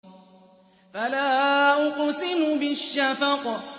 فَلَا أُقْسِمُ بِالشَّفَقِ